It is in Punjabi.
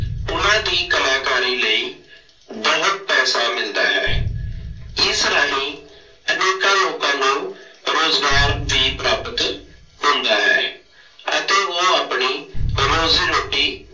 ਉਹਨਾ ਦੀ ਕਲਾਕਾਰੀ ਲਈ ਬਹੁਤ ਪੈਸਾ ਮਿਲਦਾ ਹੈ। ਇਸ ਰਾਹੀਂ ਅਨੇਕਾਂ ਲੋਕਾਂ ਨੂੰ ਰੁਜ਼ਗਾਰ ਵੀ ਪ੍ਰਾਪਤ ਹੁੰਦਾ ਹੈ ਅਤੇ ਉਹ ਆਪਣੀ ਰੋਜ਼ੀ ਰੋਟੀ